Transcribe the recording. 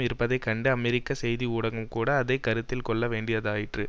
இருப்பதை கண்டு அமெரிக்க செய்தி ஊடகம் கூட அதை கருத்தில் கொள்ள வேண்டியதாயிற்று